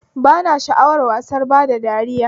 Ba na sha'awar wasan bada dariya